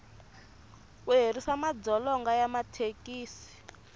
ku herisa madzolonga ya mathekisi